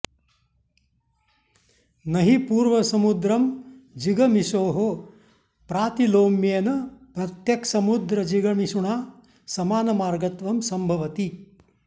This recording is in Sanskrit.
न हि पूर्वसमुद्रं जिगमिषोः प्रातिलोम्येन प्रत्यक्समुद्रजिगमिषुणा समानमार्गत्वं संभवति